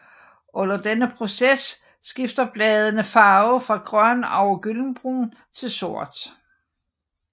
Under denne proces skifter bladene farve fra grøn over gyldenbrun til sort